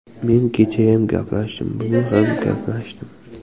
Men kechayam gaplashdim, bugun ham gaplashdim.